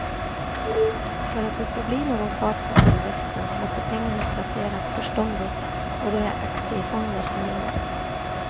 För att det ska bli någon fart på tillväxten måste pengarna placeras förståndigt och då är det aktiefonder som gäller.